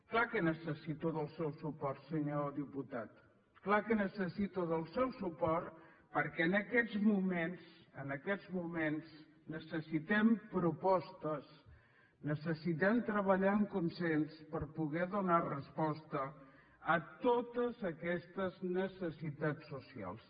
clar que necessito el seu suport senyor diputat clar que necessito el seu suport perquè en aquests moments en aquests moments necessitem propostes necessitem treballar en consens per poder donar resposta a totes aquestes necessitats socials